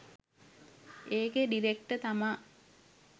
ඒකේ ඩිරෙක්ටර් තමා